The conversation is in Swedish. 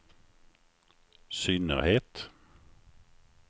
synnerhet